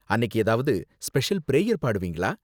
அன்னிக்கு ஏதாவது special prayer பாடுவீங்களா?